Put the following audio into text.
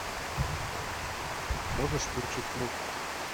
можешь включить мульт